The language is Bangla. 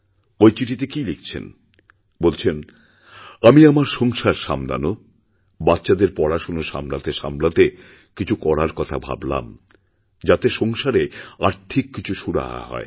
ঐ চিঠিতে কী লিখছেন বলছেন আমিআমার সংসার সামলানো বাচ্চাদের পড়াশোনা সামলাতে সামলাতে কিছু করার কথা ভাবলাম যাতেসংসারে আর্থিক কিছু সুরাহা হয়